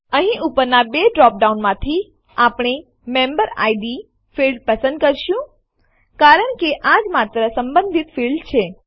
અહીં ઉપરના બે ડ્રોપડાઉનમાંથી આપણે મેમ્બેરિડ ફીલ્ડ પસંદ કરીશું કારણ કે આજ માત્ર સંબંધિત ફીલ્ડ છે